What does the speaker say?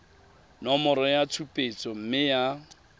nomoro ya tshupetso mme ya